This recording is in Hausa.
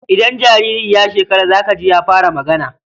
Idan jariri ya shekar za ka ji ya fara magana.